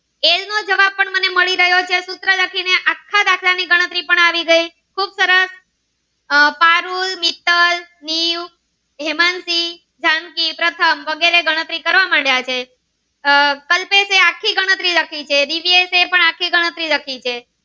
ગણરી પણ આવી ગઈ ખુબ સરસ આહ પારુલ મિત્તલ દીવ હેમાનસિ જાનકી પ્રથમ વગેરે ગણતરી કરવા માંડ્યા છે આહ કલ્પેશ એ આખી ગણતરી લખી છે દિવ્યેશ એ પણ આખીઓ ગણતરી લખી છે.